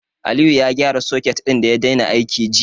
Aliyu ya gyara soket ɗin da ya daina aiki jiya.